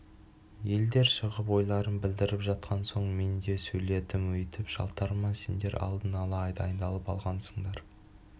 елдер шығып ойларын білдіріп жатқан соң мен де сөйледім өйтіп жалтарма сендер алдын ала дайындалып алғансыңдар